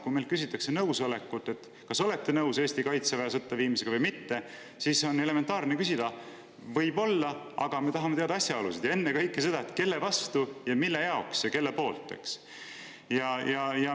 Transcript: Kui meilt küsitakse, kas olete nõus Eesti kaitseväe sõtta viimisega või mitte, siis on elementaarne, et võib-olla, aga me tahame teada asjaolusid ja ennekõike seda, kelle vastu ja mille jaoks ja kelle poolt.